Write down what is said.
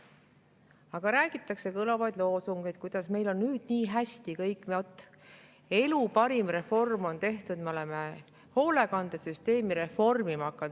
Aga räägitakse kõlavaid loosungeid, kuidas nüüd on meil kõik nii hästi, elu parim reform on tehtud, me oleme hoolekandesüsteemi reformima hakanud.